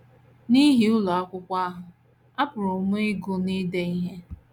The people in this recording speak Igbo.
N’ihi ụlọ akwụkwọ ahụ, apụrụ m ịgụ na ide ihe. ”